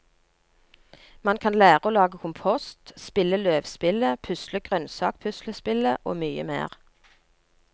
Man kan lære å lage kompost, spille løvspillet, pusle grønnsakpuslespillet og mye mer.